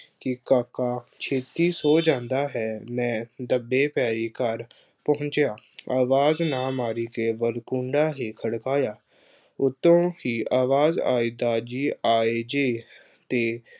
ਕਿ ਕਾਕਾ ਛੇਤੀ ਸੌ ਜਾਂਦਾ ਹੈ, ਮੈਂ ਦੱਬੇ ਪੈਰੀ ਘਰ ਪਹੁੰਚਿਆ। ਆਵਾਜ਼ ਨਾ ਮਾਰੀ ਕੇਵਲ ਕੂੰਡਾ ਹੀ ਖੜਕਾਇਆ, ਉੱਤੋਂ ਹੀ ਆਵਾਜ਼ ਆਈ ਦਾਰ ਜੀ ਆਏ ਜੇ ਅਤੇ